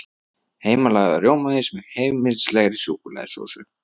Heimalagaður rjómaís með heimilislegri súkkulaðisósu